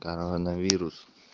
коронавирус